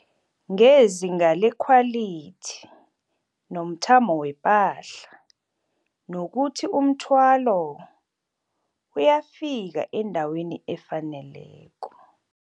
ngezinga lekhwalithi nomthamo wepahla nokuthi umthwalo uyafika endaweni efaneleko.